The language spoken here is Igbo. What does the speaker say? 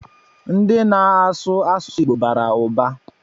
Ndi na-asụ asụsụ Igbo bara ụba